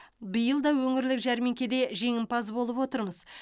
биыл да өңірлік жәрмеңкеде жеңімпаз болып отырмыз